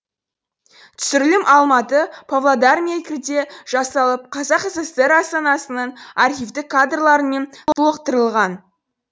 түсірілім алматы павлодар мен меркіде жасалып қазақ сср астанасының архивтік кадрларымен толықтырылған